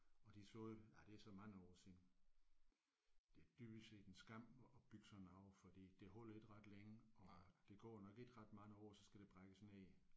Og de sagde ja det er så mange år siden det er dybest set en skam at bygge sådan noget fordi det holder ikke ret længe og der går nok ikke ret mange år så skal det brækkes ned